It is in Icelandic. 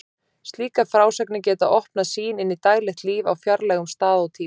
Slíkar frásagnir geta opnað sýn inn í daglegt líf á fjarlægum stað og tíma.